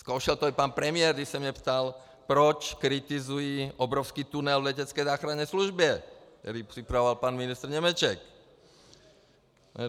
Zkoušel to i pan premiér, když se mě ptal, proč kritizuji obrovský tunel v letecké záchranné službě, který připravoval pan ministr Němeček.